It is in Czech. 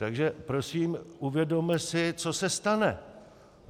Takže prosím, uvědomme si, co se stane.